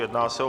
Jedná se o